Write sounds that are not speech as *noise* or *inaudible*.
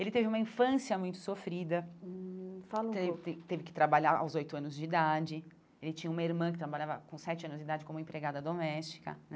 Ele teve uma infância muito sofrida, hum fala um pouco teve teve que trabalhar aos oito anos de idade, ele tinha uma irmã que trabalhava com sete anos de idade como empregada doméstica. *unintelligible*